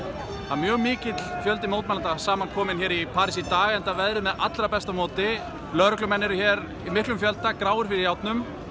mjög mikill fjöldi mótmælenda saman kominn hér í París í dag enda veðrið með allra besta móti lögreglumenn eru hér í miklum fjölda gráir fyrir járnum